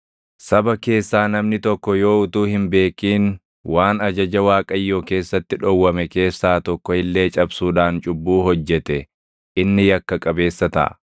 “ ‘Saba keessaa namni tokko yoo utuu hin beekin waan ajaja Waaqayyoo keessatti dhowwame keessaa tokko illee cabsuudhaan cubbuu hojjete inni yakka qabeessa taʼa.